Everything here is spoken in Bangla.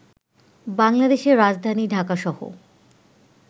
বাংলাদেশে রাজধানী ঢাকাসহ